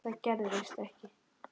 Það gerðist ekki.